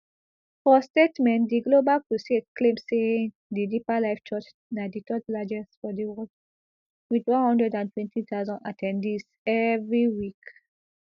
for statement di global crusade claim say di deeper life church na di third largest for di world wit one hundred and twenty thousand at ten dees evri week